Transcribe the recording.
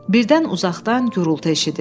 Birdən uzaqdan gurultu eşidildi.